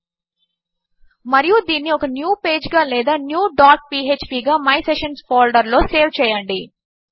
మరియు దీనిని okay new page గా లేదా న్యూ డాట్ పీఎచ్పీ గా మై సెషన్స్ ఫోల్డర్ లో సేవ్ చేయండి